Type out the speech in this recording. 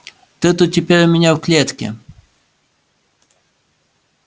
ты-то теперь у меня в клетке